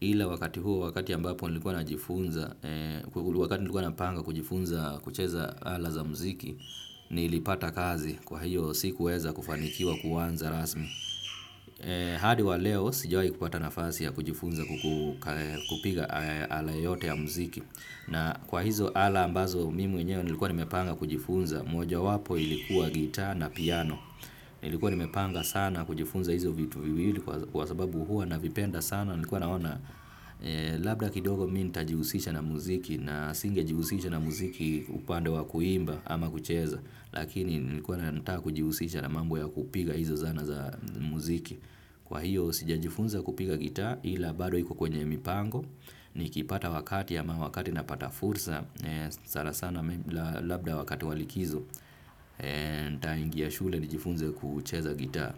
Ila wakati huo, wakati ambapo nilikuwa najifunza, wakati nilikuwa napanga kujifunza kucheza ala za muziki, nilipata kazi kwa hiyo sikuweza kufanikiwa kuanza rasmi. Hadi wa leo, sijawaikupata nafasi ya kujifunza kupiga ala yoyote ya muziki. Na kwa hizo ala ambazo mimi mwenyewe nilikuwa nimepanga kujifunza mojawapo ilikuwa guitar na piano. Nilikuwa nimepanga sana kujifunza hizo vitu viwili kwa sababu hua navipenda sana nilikuwa naona. Labda kidogo mi nitajihusisha na muziki na singejihusisha na muziki upande wa kuimba ama kucheza. Lakini nilikuwa na ninataka kujihusisha na mambo ya kupiga hizo zana za muziki. Kwa hiyo sijajifunza kupiga guitar ila bado iko kwenye mipango. Nikipata wakati ama wakati napata fursa. Sanasana labda wakati wa likizo nitaingia shule nijifunze kucheza guitar.